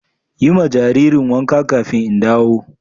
Yi ma jaririn wanka ƙafin in dawo.